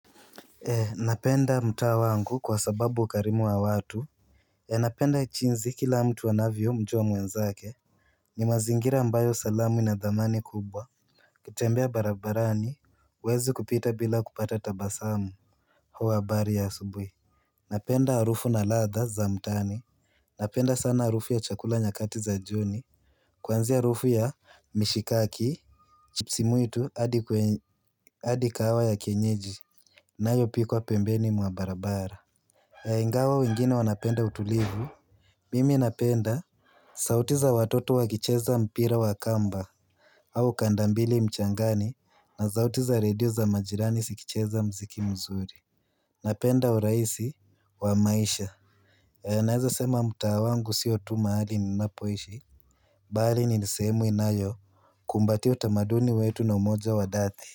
Eh napenda mta wangu kwa sababu ukarimu wa watu Eh napenda jinsi kila mtu anavyo mjua mwenzake ni mazingira ambayo salamu inadhamani kubwa ukitembea barabarani huwezi kupita bila kupata tabasamu Huwa habari ya asubuhi Napenda harufu na ladha za mtaani Napenda sana harufu ya chakula nyakati za jioni Kwanzia harufu ya mishikaki chipsi mwitu adi kahawa ya kenyeji nayo pikwa pembeni mwa barabara Yaingawa wengine wanapenda utulivu Mimi napenda sauti za watoto wa kicheza mpira wa akamba au kandambili mchangani na zauti za redio za majirani sikicheza mziki mzuri Napenda u raisi wa maisha ya naeza sema mta wangu sio tu mahali ninapoishi Bali ni sehemu inayo kumbatia utamaduni wetu na umoja wa dati.